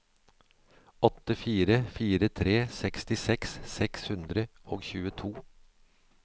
åtte fire fire tre sekstiseks seks hundre og tjueto